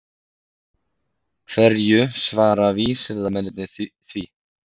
Hverju svara vísindamennirnir því?